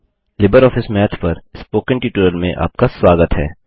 Libre office math पर spoken tutorial में आपका स्वागत है